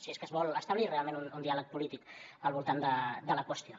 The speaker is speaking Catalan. si és que es vol establir realment un diàleg polític al voltant de la qüestió